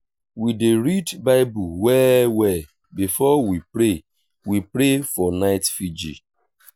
we dey read bible well-well before we pray we pray for night virgil.